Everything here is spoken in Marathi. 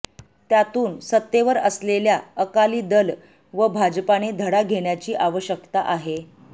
त्यातून सत्तेवर असलेल्या अकाली दल व भाजपाने धडा घेण्याची आवश्यकता आहे